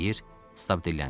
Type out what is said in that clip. Stab dilləndi.